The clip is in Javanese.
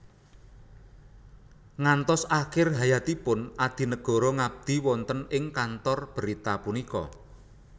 Ngantos akhir hayatipun Adinegoro ngabdi wonten ing kantor berita punika